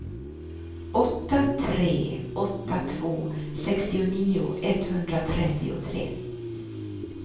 åtta tre åtta två sextionio etthundratrettiotre